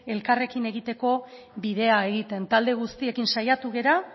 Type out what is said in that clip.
elkarrekin egiteko bidea egiten talde guztiekin saiatu gera